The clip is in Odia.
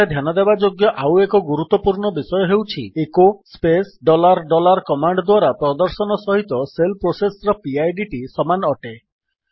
ଏଠାରେ ଧ୍ୟାନ ଦେବାଯୋଗ୍ୟ ଆଉ ଏକ ଗୁରୁତ୍ୱପୂର୍ଣ୍ଣ ବିଷୟ ହେଉଛି echo space dollar dollar command ଦ୍ୱାରା ପ୍ରଦର୍ଶନ ସହିତ ଶେଲ୍ ପ୍ରୋସେସ୍ ର ପିଡ୍ ଟି ସମାନ ଅଟେ